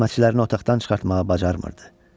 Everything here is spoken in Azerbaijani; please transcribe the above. Xidmətçiləri otaqdan çıxartmağı bacarmırdı.